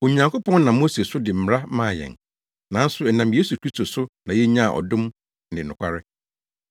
Onyankopɔn nam Mose so de mmara maa yɛn, nanso ɛnam Yesu Kristo so na yenyaa adom ne nokware.